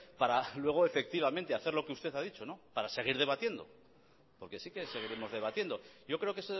para luego efectivamente hacer lo que usted a dicho para seguir debatiendo porque sí que seguiremos debatiendo yo creo que